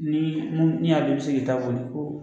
Ni mun min y'a dɔn i bi se k'i ta boli